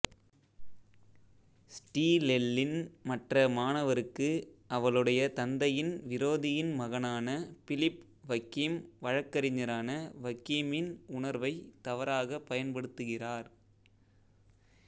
ஸ்டிலெல்லின் மற்ற மாணவருக்குஅவளுடைய தந்தையின் விரோதியின் மகனான பிலிப் வக்கீம் வழக்கறிஞரான வக்கீமின் உணர்வைத் தவறாகப் பயன்படுத்துகிறார்